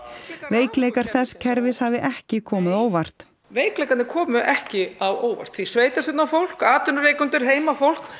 veikleikar þess kerfis hafi ekki komið á óvart veikleikarnir komu ekki á óvart því sveitarstjórnarfólk atvinnurekendur heimafólk